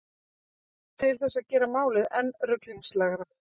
Til þess að gera málið enn ruglingslegra.